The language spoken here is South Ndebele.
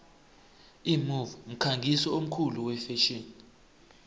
imove mkhangisi omkhulu wefetjheni